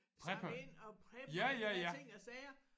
Preppe ja ja ja